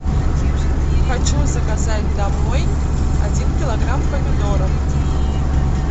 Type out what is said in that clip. хочу заказать домой один килограмм помидоров